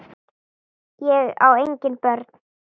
Ég á engin börn!